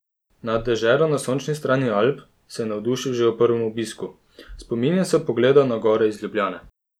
Nad deželo na sončni strani Alp se je navdušil že ob prvem obisku: "Spominjam se pogleda na gore iz Ljubljane.